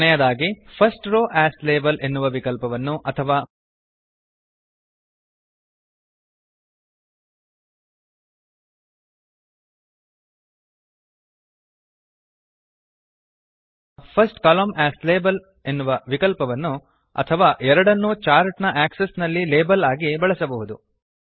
ಕೊನೆಯದಾಗಿ first row as label ಎನ್ನುವ ವಿಕಲ್ಪವನ್ನು ಅಥವಾ ಫರ್ಸ್ಟ್ ಕಾಲಮ್ನ ಎಎಸ್ ಲಾಬೆಲ್ ಎನ್ನುವ ವಿಕಲ್ಪವನ್ನು ಅಥವಾ ಎರಡನ್ನು ಚಾರ್ಟ್ ನ ಆಕ್ಸೆಸ್ ನಲ್ಲಿ ಲೇಬಲ್ಸ್ ಆಗಿ ಬಳಸಬಹುದು